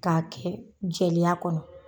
K'a kɛ jeleya kɔnɔ